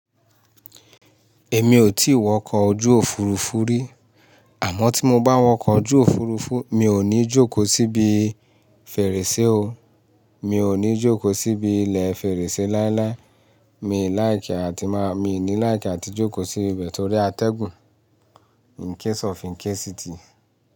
Èmi ò tí wọkọ̀ ojú Òfurufú rí. Àmọ́ tí mo bá wọkọ̀ ojú Òfurufú, mi ò ní jókòó síbi fèrèsé o. Mi ò ní jókòó síbi ilẹ̀ fèrèsé láíláí. Mi lè láìkẹ́ àti máa, mi ní láìkẹ́ àti jókòó sí ibẹ̀ torí atẹ́gùn in case of in case it.